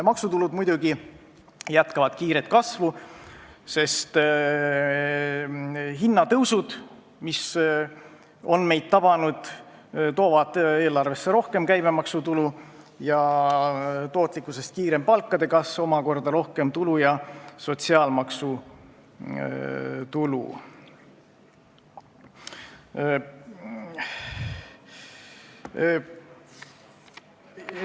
Maksutulud muidugi jätkavad kiiret kasvu, sest hinnatõusud, mis on meid tabanud, toovad eelarvesse rohkem käibemaksutulu ja tootlikkusest kiirem palkade kasv omakorda sotsiaalmaksu tulu.